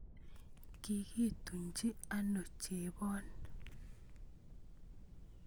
Kikituchi ano chebon?